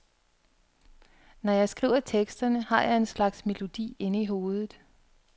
Når jeg skriver teksterne har jeg en slags melodi inde i hovedet.